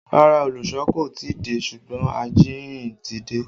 Rárá, olùsọ kò tí ì dé ṣùgbọ́n ajíhìn ti dé